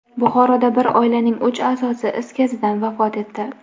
Buxoroda bir oilaning uch a’zosi is gazidan vafot etdi.